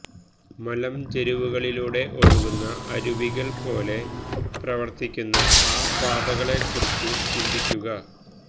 മലഞ്ചെരിവുകളിലൂടെ ഒഴുകുന്ന അരുവികൾ പോലെ പ്രവർത്തിക്കുന്ന ആ പാതകളെക്കുറിച്ചു ചിന്തിക്കുക